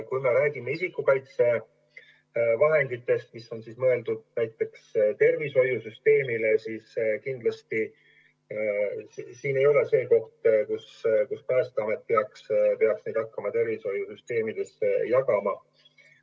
Kui me räägime isikukaitsevahenditest, mis on mõeldud näiteks tervishoiusüsteemile, siis see kindlasti ei ole koht, kus Päästeamet peaks tegutsema hakkama ja neid tervishoiusüsteemile jagama.